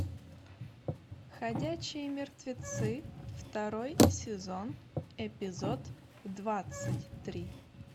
ходячие мертвецы второй сезон эпизод двадцать три